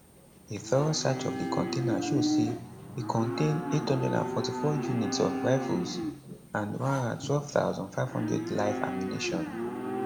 a thorough search of di container show say e contain 844 units of rifles and 112500 live ammunition